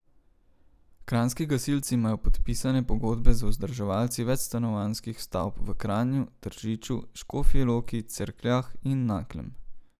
Kranjski gasilci imajo podpisane pogodbe z vzdrževalci večstanovanjskih stavb v Kranju, Tržiču, Škofji Loki, Cerkljah in Naklem.